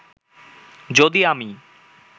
যদি আমি